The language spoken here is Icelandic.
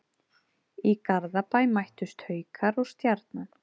Í Garðabæ mættust Haukar og Stjarnan.